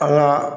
An ka